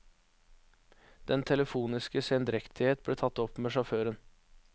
Den telefoniske sendrektighet ble tatt opp med sjåføren.